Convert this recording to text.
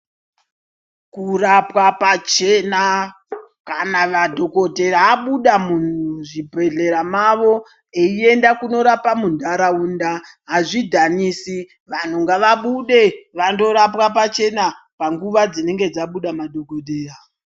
Kurapwa pachena kana madhokodheya abuda muzvibhedhlera mavo eienda kundoramba mundaraunda hazvidhanisi vantu ngavabude vandorapwa pachena panguva dzinenge dzabuda madhokodheya.